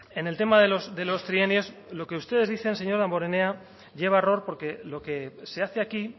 en el tema de los trienios lo que ustedes dicen señor damborenea lleva a error porque lo que se hace aquí